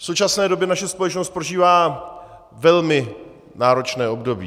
V současné době naše společnost prožívá velmi náročné období.